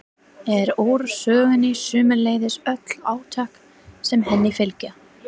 er úr sögunni, sömuleiðis öll átök sem henni fylgja.